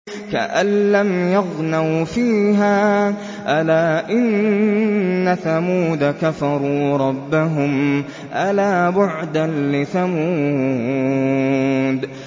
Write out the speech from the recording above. كَأَن لَّمْ يَغْنَوْا فِيهَا ۗ أَلَا إِنَّ ثَمُودَ كَفَرُوا رَبَّهُمْ ۗ أَلَا بُعْدًا لِّثَمُودَ